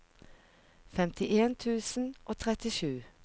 femtien tusen og trettisju